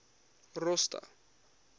rosta